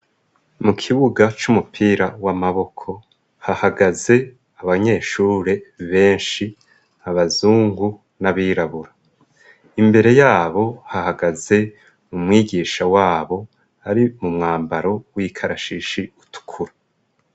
Mu kibuga c'umupira w'amaboko hahagaze abanyeshure benshi abazungu n'abirabura imbere yabo hahagaze umwigisha wabo ari mu mwambaro w'ikarashishi utukura.